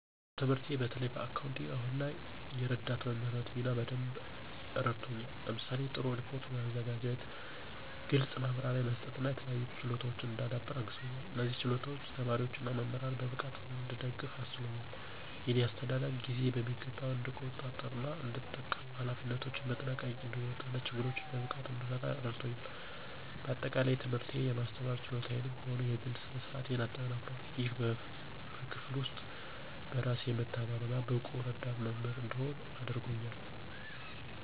ትምህርቴ በተለይም በአካውንቲንግ አሁን ላለኝ የረዳት መምህርነት ሚና በደንብ አረድቶኛል። ለምሳሌ:- ጥሩ ሪፖርት ማዘጋጀት፣ ግልጽ ማብራሪያ መስጠት እና የተለያዩ ችሎታወችን እንዳዳብር አግዞኛል። እነዚህም ችሎታዎች ተማሪዎች እና መምህራንን በብቃት እንድደግፍ አስችሎኛል። የእኔ አስተዳደግ ጊዜን በሚገባ እንድቆጣጠር እና እንድጠቀም፣ ኃላፊነቶችን በጥንቃቄ እንድወጣ እና ችግሮችን በብቃት እንድፈታ እረዳቶኛል። በአጠቃላይ፣ ትምህርቴ የማስተማር ችሎታዬንም ሆነ የግሌ ስነ-ስርአቴን አጠናክሯል፣ ይህም በክፍል ውስጥ በራስ የመተማመን እና ብቁ ረዳት መምህር እንድሆን አድርጎኛል።